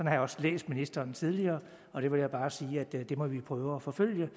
har jeg også læst ministeren tidligere og jeg vil bare sige at det må vi prøve at forfølge